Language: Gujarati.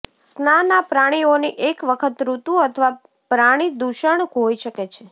સ્નાન આ પ્રાણીઓની એક વખત ઋતુ અથવા પ્રાણી દૂષણ હોઈ શકે છે